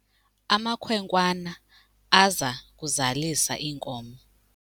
Amakhwenkwana aza kuzalisa iinkomo.